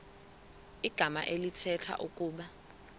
igama elithetha ukuba